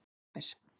september